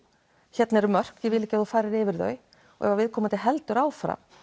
hérna eru mörk ég vil ekki að þú farir yfir þau og ef viðkomandi heldur áfram